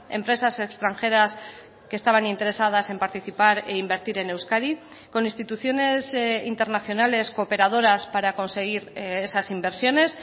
empresas extranjeras que estaban interesadas en participar e invertir en euskadi con instituciones internacionales cooperadoras para conseguir esas inversiones